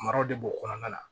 Maraw de b'o kɔnɔna la